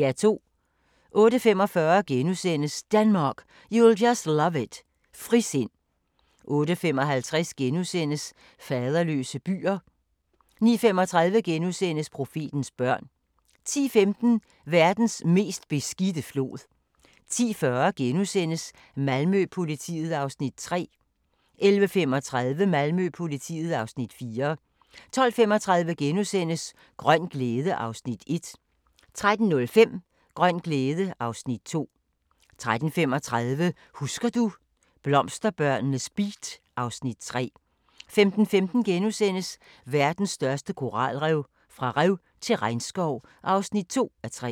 08:45: Denmark, you'll just love it – frisind * 08:55: Faderløse byer * 09:35: Profetens børn * 10:15: Verdens mest beskidte flod 10:40: Malmø-politiet (Afs. 3)* 11:35: Malmø-politiet (Afs. 4) 12:35: Grøn glæde (Afs. 1)* 13:05: Grøn glæde (Afs. 2) 13:35: Husker du – blomsterbørnenes beat (Afs. 3) 15:15: Verdens største koralrev – fra rev til regnskov (2:3)*